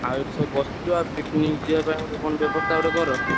ଆଉ ଏଇଠି ସବୁ ବସିଚୁ ଆଉ picnic ଯିବା ପାଇଁ କଣ ବ୍ୟବସ୍ତା ଗୋଟେ କର।